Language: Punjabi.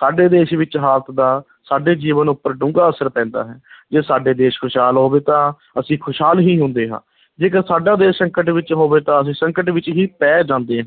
ਸਾਡੇ ਦੇਸ਼ ਵਿੱਚ ਹਾਲਤ ਦਾ ਸਾਡੇ ਜੀਵਨ ਉੱਪਰ ਡੂੰਘਾ ਅਸਰ ਪੈਂਦਾ ਹੈ ਜੇ ਸਾਡਾ ਦੇਸ਼ ਖੁਸ਼ਹਾਲ ਹੋਵੇ ਤਾਂ ਅਸੀਂ ਖੁਸ਼ਹਾਲ ਹੀ ਹੁੰਦੇ ਹਾਂ, ਜੇਕਰ ਸਾਡਾ ਦੇਸ਼ ਸੰਕਟ ਵਿੱਚ ਹੋਵੇ ਤਾਂ ਅਸੀਂ ਸੰਕਟ ਵਿੱਚ ਹੀ ਪੈ ਜਾਂਦੇ ਹਾਂ।